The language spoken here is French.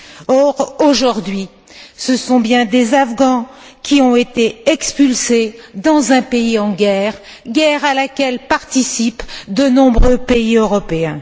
Or, aujourd'hui, ce sont bien des Afghans qui ont été expulsés dans un pays en guerre, guerre à laquelle participent de nombreux pays européens.